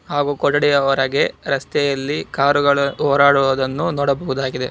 ಹಾಗು ಕೊಠಡಿಯವರಗೆ ರಸ್ತೆಯಲ್ಲಿ ಕಾರುಗಳು ಹೋರಾಡುವುದನ್ನು ನೋಡಬಹುದಾಗಿದೆ.